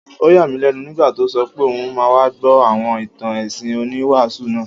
Ó yà mí lẹ́nu nígbà tó sọ pé òun máa wá gbọ́ àwọn ìtàn ẹ̀sìn oníwàásù náà